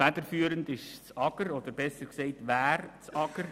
Federführend ist das AGR, oder besser gesagt, wäre das AGR.